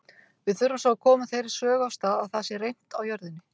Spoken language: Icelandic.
Við þurfum svo að koma þeirri sögu af stað að það sé reimt á jörðinni.